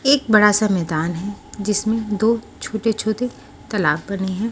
एक बड़ा सा मैदान है जिसमें दो छोते - छोते तालाब बने हैं।